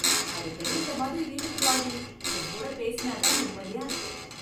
அடிக்கடி இந்த மாதிரி வீட்டுக்கு வாடி, உன் கூட பேசினா தான் நிம்மதியா இருக்கு.